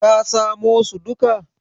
ka samo su duka?